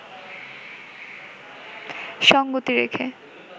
সঙ্গতি রেখে